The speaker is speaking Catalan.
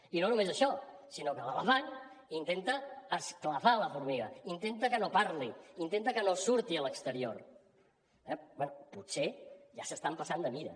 i no només això sinó que l’elefant intenta esclafar la formiga intenta que no parli intenta que no surti a l’exterior eh bé potser ja s’estan passant de mida